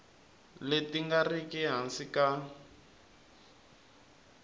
leti nga riki ehansi ka